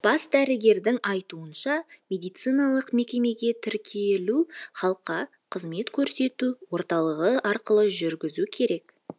бас дәрігердің айтуынша медициналық мекемеге тіркелу халыққа қызмет көрсету орталығы арқылы жүргізу керек